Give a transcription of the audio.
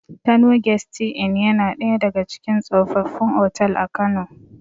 Kano gesti in yana ɗaya daga cikin tsofaffin otal a kano